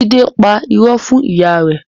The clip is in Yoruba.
Jide pa ìró fún ìyá rẹ